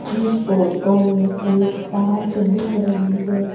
इस फोटो में एक पार्क दिख रही है।